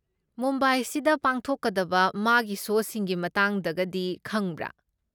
ꯃꯨꯝꯕꯥꯏꯁꯤꯗ ꯄꯥꯡꯊꯣꯛꯀꯗꯕ ꯃꯥꯒꯤ ꯁꯣꯁꯤꯡꯒꯤ ꯃꯇꯥꯡꯗꯒꯗꯤ ꯈꯪꯕ꯭ꯔꯥ?